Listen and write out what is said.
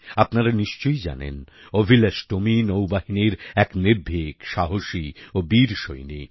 আপনারা নিশ্চয়ই জানেন অভিলাষ টোমি নৌবাহিনীর এক নির্ভীক সাহসী ও বীর সৈনিক